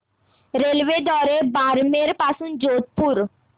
रेल्वेद्वारे बारमेर ते जोधपुर